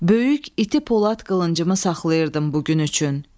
Böyük iti polad qılıncımı saxlayırdım bu gün üçün.